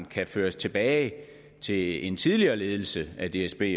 kan føres tilbage til en tidligere ledelse af dsb